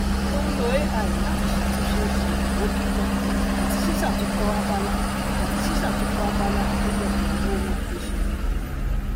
ó ń lo ai láti ṣàtúnṣe ṣàyẹwò kíkọ àti ṣíṣàtúnkọ abala àti ṣíṣàtúnkọ abala àkójọpọ ohunagbéṣe